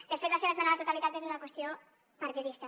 de fet la seva esmena a la totalitat és una qüestió partidista